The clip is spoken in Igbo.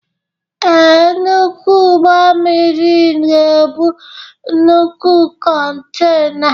Ee, nnukwu ụgbọ mmiri ga-ebu nnukwu kontena.